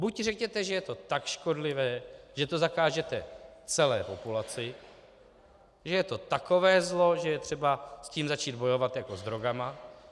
Buď řekněte, že je to tak škodlivé, že to zakážete celé populaci, že je to takové zlo, že je třeba s tím začít bojovat jako s drogami.